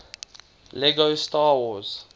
lego star wars